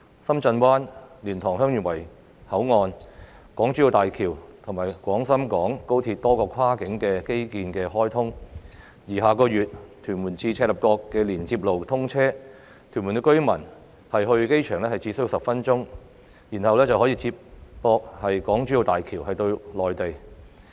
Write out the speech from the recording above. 深圳灣、蓮塘/香園圍口岸、港珠澳大橋及廣深港高鐵多項跨境基建項目相繼開通，而下月屯門至赤鱲角連接路通車後，屯門居民到機場只需10分鐘，然後便可以接駁港珠澳大橋到內地。